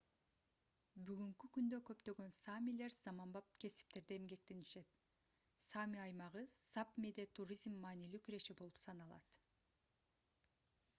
бүгүнкү күндө көптөгөн саамилер заманбап кесиптерде эмгектенишет саами аймагы сапмиде туризм маанилүү киреше булагы болуп саналат